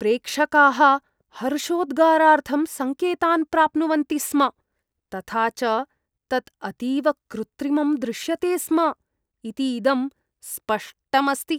प्रेक्षकाः हर्षोद्गारार्थं सङ्केतान् प्राप्नुवन्ति स्म तथा च तत् अतीव कृत्रिमं दृश्यते स्म इति इदं स्पष्टम् अस्ति।